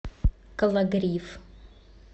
кологрив